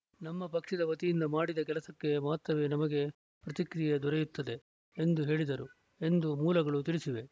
ನಮ್ಮ ಪಕ್ಷದ ವತಿಯಿಂದ ಮಾಡಿದ ಕೆಲಸಕ್ಕೆ ಮಾತ್ರವೇ ನಮಗೆ ಪ್ರತಿಕ್ರಿಯೆ ದೊರೆಯುತ್ತದೆ ಎಂದು ಹೇಳಿದರು ಎಂದು ಮೂಲಗಳು ತಿಳಿಸಿವೆ